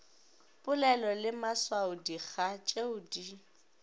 polelo le maswaodikga tšeo di